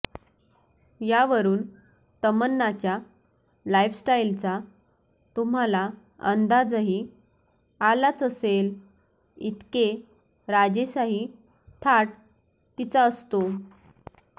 यावरुन तमन्नाच्या लाइफस्टाइलचा तुम्हाला अंदाजही आलाच असले इतके राजेसाही थाट तिचा असतो